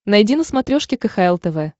найди на смотрешке кхл тв